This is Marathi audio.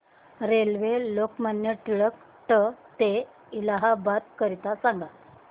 रेल्वे लोकमान्य टिळक ट ते इलाहाबाद करीता सांगा